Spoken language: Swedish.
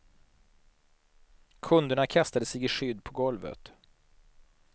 Kunderna kastade sig i skydd på golvet.